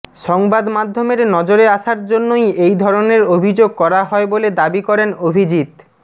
সংবাদমাধ্যমের নজরে আসার জন্যই এই ধরনের অভিযোগ করা হয় বলে দাবি করেন অভিজিত